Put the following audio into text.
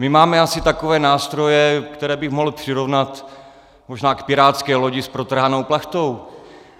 My máme asi takové nástroje, které bych mohl přirovnat možná k pirátské lodi s protrhanou plachtou.